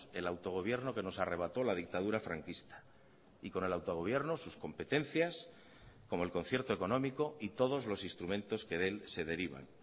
el autogobierno que nos arrebató la dictadura franquista y con el autogobierno sus competencias como el concierto económico y todos los instrumentos que de él se derivan